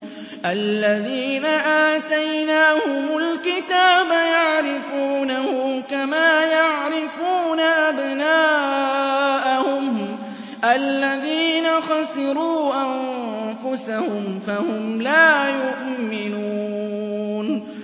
الَّذِينَ آتَيْنَاهُمُ الْكِتَابَ يَعْرِفُونَهُ كَمَا يَعْرِفُونَ أَبْنَاءَهُمُ ۘ الَّذِينَ خَسِرُوا أَنفُسَهُمْ فَهُمْ لَا يُؤْمِنُونَ